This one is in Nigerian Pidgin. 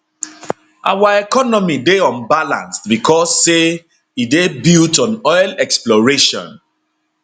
our economy dey unbalanced becos say e dey built on oil exploration